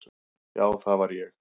Já, það var ég.